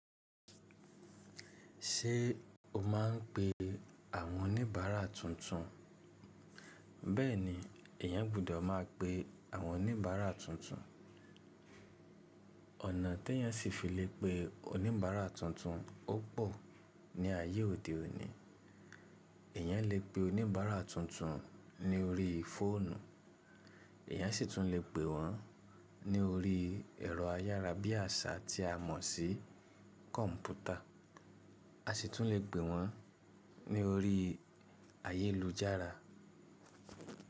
Ṣé o máà ń pe àwọn oníbàárà tuntun? Bẹ́ẹ̀ni, èyàn gbọ́dọ̀ máa pe àwọn oníbàárà tuntun. Ọ̀nà tèyàn ṣì fi lè pe oníbàárà tuntun ó pò ní ayé òde òní. Èyàn lè pè oníbàárà tuntun lórí fóònù, èyàn ṣì tún lè pè wọ́n ní orí ẹ̀rọ ayára bí àṣá tí a mọ̀ sí kọ̀ǹpútà, a ṣì tún lè pè wọ́n ní orí ayélujára.